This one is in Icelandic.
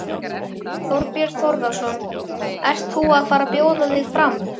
Þorbjörn Þórðarson: Ert þú að fara bjóða þig fram?